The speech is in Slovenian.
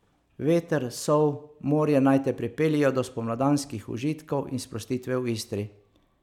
Veter, sol, morje naj te pripeljejo do spomladanskih užitkov in sprostitve v Istri.